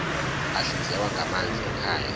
ahlinzekwa ngamanzi ekhaya